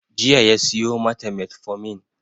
Jiya ya siyo mata metformin